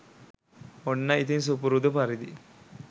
ඔන්න ඉතින් සුපුරුදු පරිදි